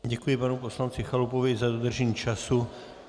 Děkuji panu poslanci Chalupovi za dodržení času.